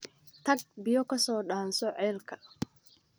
Tag biyo ka soo dhaanso ceelka